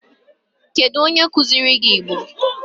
Kedu onye kuziri gi Igbo?